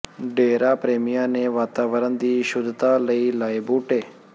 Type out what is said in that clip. ਡੇਰਾ ਪ੍ਰੇਮੀਆਂ ਨੇ ਵਾਤਾਵਰਨ ਦੀ ਸ਼ੁੱਧਤਾ ਲਈ ਲਾਏ ਬੂਟੇ